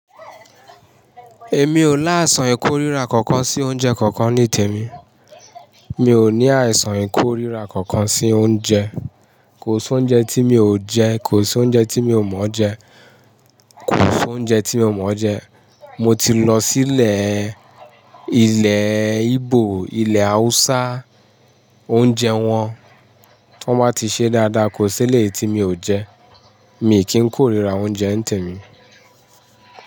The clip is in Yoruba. Èmi ò láìsàn ìkóríra kankan sí oúnjẹ kankan ní tèmi. Mi ò ní àìsàn ìkóríra kankan sí oúnjẹ. Kò sí oúnjẹ tí mi ò jẹ, kò sí oúnjẹ tí mi ò mọ̀ọ́ jẹ, kò sí oúnjẹ tí mi ò mọ̀ọ́ jẹ. Mo ti lọ sílẹ̀ ilẹ̀ Ígbò, ilẹ̀ Hausa, oúnjẹ wọn tí wọ́n bá ti ṣe dáadáa kò sí ilé tí mi ò jẹ. Mi kì í kóríra oúnjẹ n tèmi.